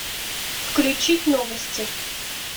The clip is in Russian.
включить новости